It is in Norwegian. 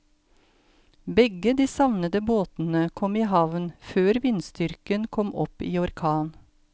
Begge de savnede båtene kom i havn før vindstyrken kom opp i orkan.